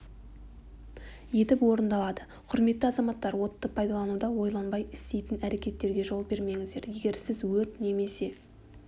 етіп орындалады құрметті азаматтар отты пайдалануда ойланбай істейтін әрекеттерге жол бермеңіздер егер сіз өрт немесе